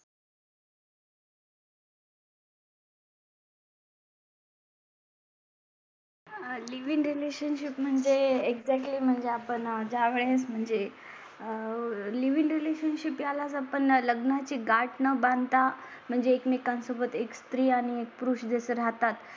living relationship म्हणजे एक जरी म्हणजे आपण ज्या वेळेस म्हणजे आह लिव इन रिलेशनशिप यालाच आपण लग्ना ची गाठ न बांधता म्हणजे एकमेकां सोबत एक स्त्री आणि एक पुरुष जसे राहतात